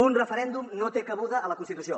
un referèndum no té cabuda a la constitució